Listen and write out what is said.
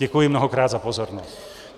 Děkuji mnohokrát za pozornost.